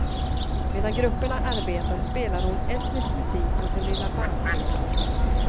Medan grupperna arbetar spelar hon estnisk musik på sin lilla bandspelare.